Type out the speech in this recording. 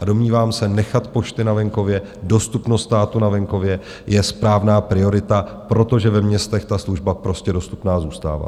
A domnívám se, nechat pošty na venkově, dostupnost státu na venkově je správná priorita, protože ve městech ta služba prostě dostupná zůstává.